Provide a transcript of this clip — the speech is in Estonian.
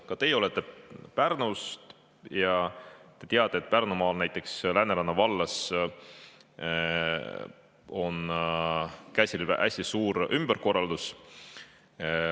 Ka teie olete Pärnust ja te teate, et Pärnumaal, näiteks Lääneranna vallas, on käsil hästi suur ümberkorraldus.